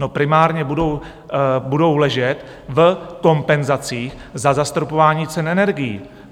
No primárně budou ležet v kompenzacích za zastropování cen energií.